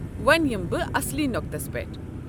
وۄنہِ یِمہٕ بہٕ اصلی نۄكتس پیٹھ۔